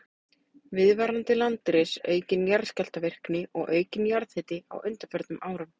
Viðvarandi landris, aukin jarðskjálftavirkni og aukinn jarðhiti á undanförnum árum.